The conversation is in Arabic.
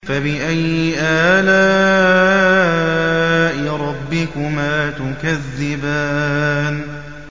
فَبِأَيِّ آلَاءِ رَبِّكُمَا تُكَذِّبَانِ